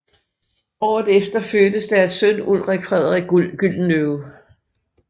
Året efter fødtes deres søn Ulrik Frederik Gyldenløve